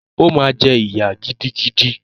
O ma ji ìyà gidigidi.